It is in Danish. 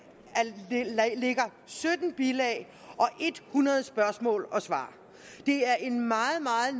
ligger sytten bilag og hundrede spørgsmål og svar det er et meget